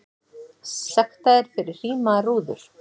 Sektaðir fyrir hrímaðar rúður